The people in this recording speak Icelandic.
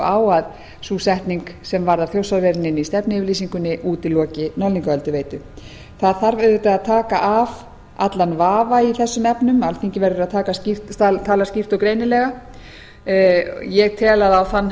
að sú setning sem varðar þjórsárverin inni í stefnuyfirlýsingunni útiloka norðlingaölduveitu það þarf auðvitað að taka af allan vafa í þessum efnum alþingi verður að tala skýrt og greinilega ég tel að á þann